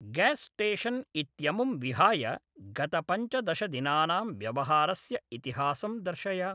Gas station इत्यमुं विहाय गत पञ्चदश दिनानां व्यवहारस्य इतिहासं दर्शय।